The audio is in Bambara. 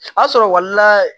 A sɔrɔla